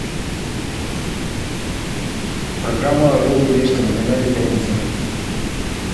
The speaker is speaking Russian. программа орел и решка на канале пятница